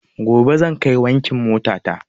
Gobe zan kai wankin mota ta